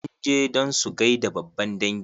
Sun je don su gaida babban dangi.